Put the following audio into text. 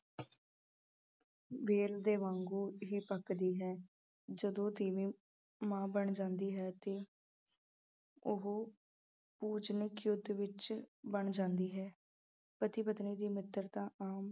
ਵੇਲ ਦੇ ਵਾਂਗੂ ਹੀ ਪੱਕਦੀ ਹੈ ਜਦੋਂ ਤੀਵੀਂ ਮਾਂ ਬਣ ਜਾਂਦੀ ਹੈ ਤੇ ਉਹ ਪੂਜਨਿਕ ਵਿੱਚ ਬਣ ਜਾਂਦੀ ਹੈ, ਪਤੀ ਪਤਨੀ ਦੀ ਮਿਤਰਤਾ ਆਮ